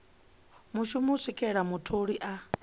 mushumi u swikela mutholi a